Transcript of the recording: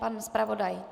Pan zpravodaj?